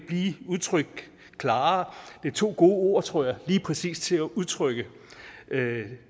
udtrykkes klarere det er to gode ord tror jeg lige præcis at udtrykke